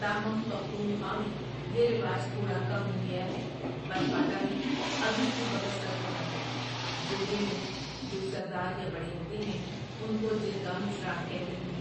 تاہم پختونخوا میں یہ رواج تھوڑا کم ہو گیا ہے پر فاٹا میں ابھی بھی بکثرت ہوتا ہے جرگے میں جو سردار یا بڑے ہوتے ہیں ان کو جرگہ مشران کہتے ہیں ۔